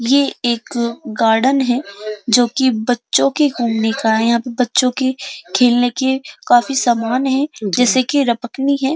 ये एक गार्डन है जो की बच्चो के घुमने का है। यहाँ पे बच्चो के खेलने के काफी सामान है जैसे के रपकनी है।